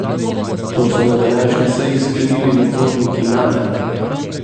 To so na današnji seji sklenili nadzorniki Name.